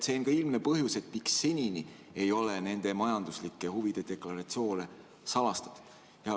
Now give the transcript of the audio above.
See on ka ilmne põhjus, miks seni ei ole juhtide majanduslike huvide deklaratsioone salastatud.